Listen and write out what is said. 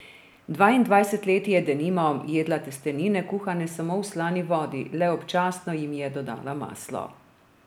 Dvaindvajset let je, denimo, jedla testenine, kuhane samo v slani vodi, le občasno jim je dodala maslo.